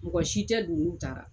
Mɔgɔ si tɛ du, n'u taara